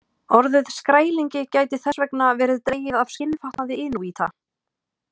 Orðið skrælingi gæti þess vegna verið dregið af skinnfatnaði inúíta.